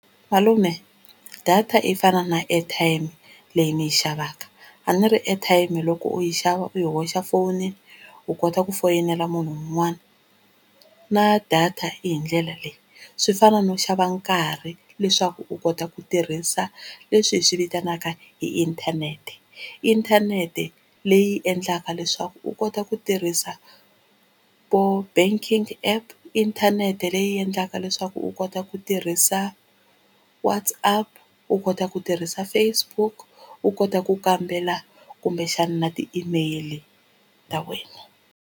Malume data yi fana na airtime leyi ni yi xavaka a ni ri airtime loko u yi xava u yi hoxa fonini u kota ku foyinela munhu un'wana na data yi hi ndlela leyi swi fana no xava nkarhi leswaku u kota ku tirhisa leswi hi swi vitanaka hi inthanete, inthanete leyi endlaka leswaku u kota ku tirhisa vo banking app inthanete leyi endlaka leswaku u kota kota ku tirhisa WhatsApp u kota ku tirhisa Facebook u kota ku kambela kumbexana ti-email ta wena.